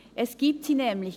– Es gibt sie nämlich!